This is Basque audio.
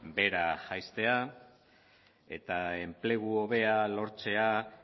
behera jaistea eta enplegu hobea lortzea